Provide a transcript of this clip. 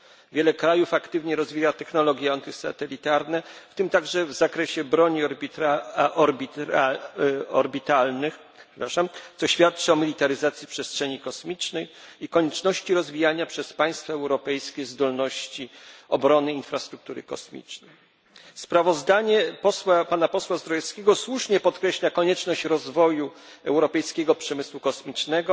Wiele krajów aktywnie rozwija technologie antysatelitarne, w tym także w zakresie broni orbitalnych, co świadczy o militaryzacji przestrzeni kosmicznej i konieczności rozwijania przez państwa europejskie zdolności obrony infrastruktury kosmicznej. Sprawozdanie pana posła Zdrojewskiego słusznie podkreśla konieczność rozwoju europejskiego przemysłu kosmicznego,